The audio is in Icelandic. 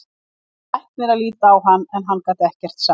Það kom læknir að líta á hann en hann gat ekkert sagt.